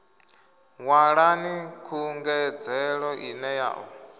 ṅwalani khungedzelo ine ya ḓo